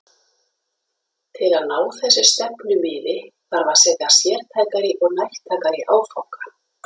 Til að ná þessu stefnumiði þarf að setja sértækari og nærtækari áfanga.